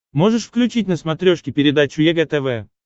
можешь включить на смотрешке передачу егэ тв